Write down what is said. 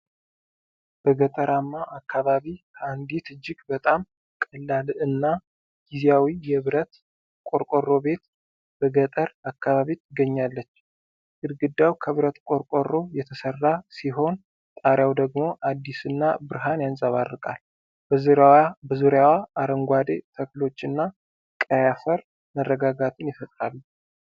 በገጠራማ አካባቢ ከአንዲት እጅግ በጣም ቀላል እና ጊዜያዊ የብረት ቆርቆሮ ቤት በገጠር አካባቢ ትገኛለች። ግድግዳው ከብረት ቆርቆሮ የተሰራ ሲሆን፣ ጣሪያው ደግሞ አዲስና ብርሃን ያንጸባርቃል። በዙሪያዋ አረንጓዴ ተክሎች እና ቀይ አፈር መረጋጋትን ይፈጥራሉ።